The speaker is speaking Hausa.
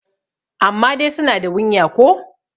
amma dai suna da wunya ko?